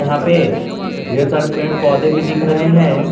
यहां पे ढेर सारे पेड़ पौधे भी दिख रहे हैं।